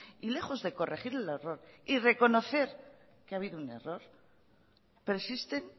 y lejos de corregir el error y reconocer que ha habido un error persisten